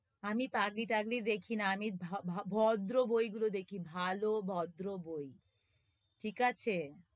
আমি পাগলি-টাগলি দেখি না আমি ভা~ ভা~ ভদ্র বইগুলি দেখি ভালো, ভদ্র বই ঠিক আছে?